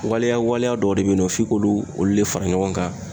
Waliya waliya dɔw de bɛ yen nɔ f'i k'olu de fara ɲɔgɔn kan.